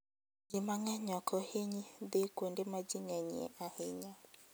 Ji mang'eny ok hiny dhi kuonde ma ji ng'enyie ahinya.